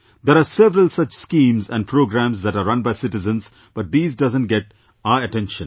There are several such schemes and programmes that are run by citizens but these doesn't get our attention